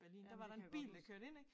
Ja det kan jeg godt huske